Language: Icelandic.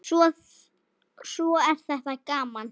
Svo er þetta gaman.